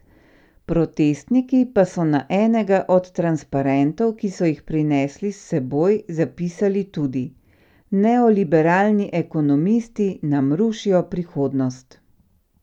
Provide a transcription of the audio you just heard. Protestniki pa so na enega od transparentov, ki so jih prinesli s seboj, zapisali tudi: 'Neoliberalni ekonomisti nam rušijo prihodnost'.